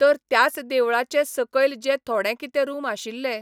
तर त्याच देवळाचे सकयल जे थोडे कितें रूम आशिल्ले,